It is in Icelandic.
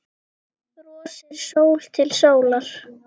Brosir sól til sólar.